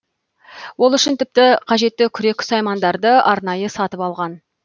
ол үшін тіпті қажетті күрек саймандарды арнайы сатып алған